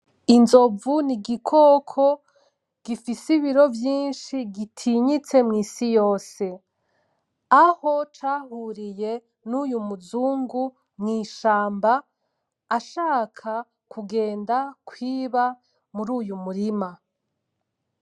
Izomvu n’igikoko gifise ibiro vyinshi gitinyiste nw’isi yose. Aho cahuriye nuyu muzugu mw’ishamba ashaka kugenda kwiba muruyu murima.